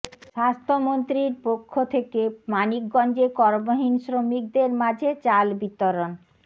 স্বাস্থ্যমন্ত্রীর পক্ষ থেকে মানিকগঞ্জে কর্মহীন শ্রমিকদের মাঝে চাল বিতরণ